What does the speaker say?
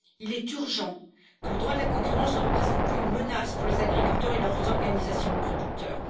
Il est urgent que le droit de la concurrence ne représente plus une menace pour les agriculteurs et leurs organisations de producteurs.